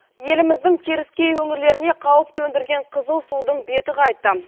еліміздің теріскей өңірлеріне қауіп төндірген қызыл судың беті қайтты